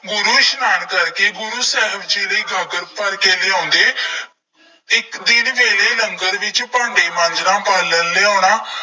ਗੁਰੂ ਇਸ਼ਨਾਨ ਕਰਕੇ ਗੁਰੂ ਸਾਹਿਬ ਜੀ ਲਈ ਗਾਗਰ ਭਰਕੇ ਲਿਆਉਂਦੇ। ਇੱਕ, ਦਿਨ ਵੇਲੇ ਲੰਗਰ ਵਿੱਚ ਭਾਂਡੇ ਮਾਂਜਣਾ, ਬਾਲਣ ਲਿਆਉਣਾ,